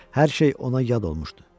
Hər şey ona yad olmuşdu.